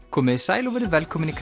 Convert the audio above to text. komiði sæl og verið velkomin í